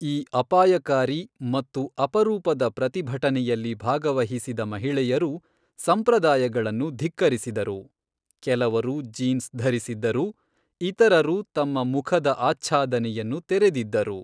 ಈ ಅಪಾಯಕಾರಿ ಮತ್ತು ಅಪರೂಪದ ಪ್ರತಿಭಟನೆಯಲ್ಲಿ ಭಾಗವಹಿಸಿದ ಮಹಿಳೆಯರು ಸಂಪ್ರದಾಯಗಳನ್ನು ಧಿಕ್ಕರಿಸಿದರು, ಕೆಲವರು ಜೀನ್ಸ್ ಧರಿಸಿದ್ದರು, ಇತರರು ತಮ್ಮ ಮುಖದ ಆಚ್ಛಾದನೆಯನ್ನು ತೆರೆದಿದ್ದರು.